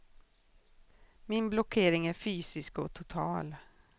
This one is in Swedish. Min blockering är fysisk och total.